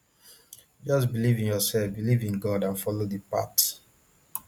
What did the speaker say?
just believe in yourself believe in god and follow di path